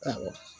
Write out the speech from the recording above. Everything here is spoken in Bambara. Awɔ